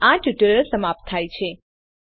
અહીં આ ટ્યુટોરીયલ સમાપ્ત થાય છે